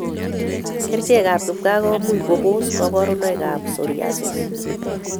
Kerichek ab kipkaa komuch kobos kabarunoik ab psoriasis